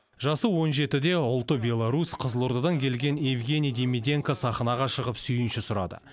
жасы он жетіде ұлты беларусь қызылордадан келген евгений демиденко сахнаға шығып сүйінші сұрады